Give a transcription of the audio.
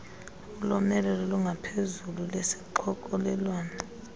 ulomelelo olungaphezulu lesixokelelwano